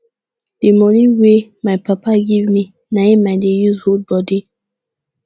the money wey my papa give me na im i dey use hood body